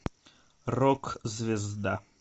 рок звезда